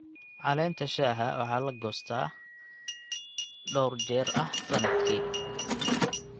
Caleenta shaaha waxaa la goostaa jeer dhowr ah sanadkii.